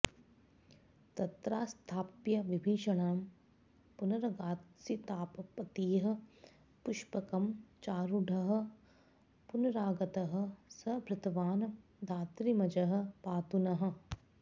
तत्रास्थाप्य विभीषणं पुनरगात्सीतापतिः पुष्पकं चारूढः पुनरागतः स भृतवान् धात्रीमजः पातु नः